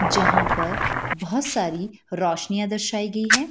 जहां पर बहुत सारी रोशनियां दर्शाई गई है।